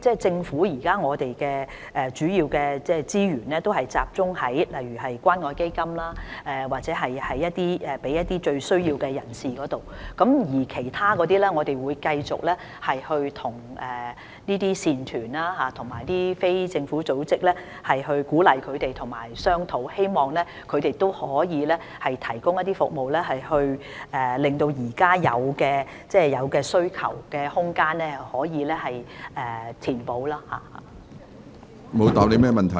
政府現時的資源主要也是集中在例如透過關愛基金向最有需要的人士提供服務，除此之外，我們會繼續鼓勵慈善團體和非政府組織，以及與它們商討，希望它們可以提供服務，使現有的需求空間得以填補。